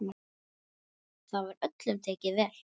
Þar var öllum tekið vel.